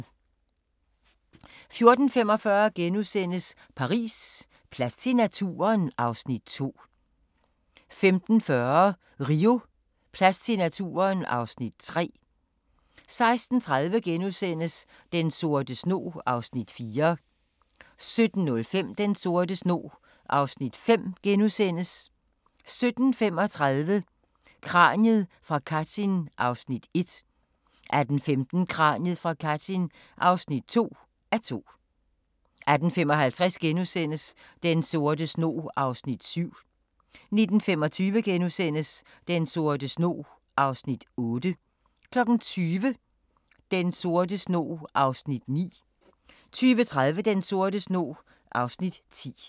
14:45: Paris: Plads til naturen? (Afs. 2)* 15:40: Rio: Plads til naturen? (Afs. 3) 16:30: Den sorte snog (Afs. 4)* 17:05: Den sorte snog (Afs. 5)* 17:35: Kraniet fra Katyn (1:2) 18:15: Kraniet fra Katyn (2:2) 18:55: Den sorte snog (Afs. 7)* 19:25: Den sorte snog (Afs. 8)* 20:00: Den sorte snog (Afs. 9) 20:30: Den sorte snog (Afs. 10)